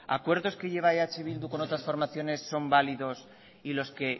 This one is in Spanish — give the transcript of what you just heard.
acuerdos que lleva eh bildu con otras formaciones son válidos y los que